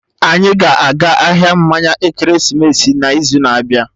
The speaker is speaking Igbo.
Anyị ga-aga ahịa mmanya ekeresimesi n'izu na-abịa